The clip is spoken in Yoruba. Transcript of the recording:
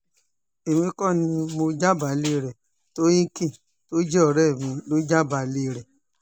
èmi kò ní mọ jábàálẹ̀ rẹ tohecken tó jẹ́ ọ̀rẹ́ mi lọ jábàálẹ̀ rẹ